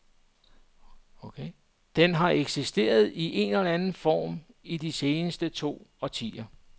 Den har eksisteret i en eller anden form i de seneste to årtier.